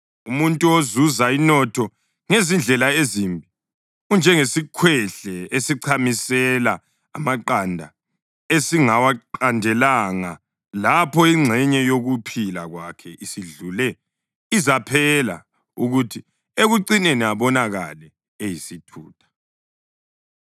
Umuntu ozuza inotho ngezindlela ezimbi unjengesikhwehle esichamisela amaqanda esingawaqandelanga. Lapho ingxenye yokuphila kwakhe isidlule, izaphela, kuthi ekucineni abonakale eyisithutha.